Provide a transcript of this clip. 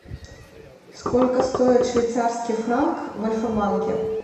сколько стоит швейцарский франк в альфа банке